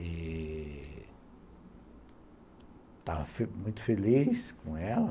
E... Estava muito feliz com ela.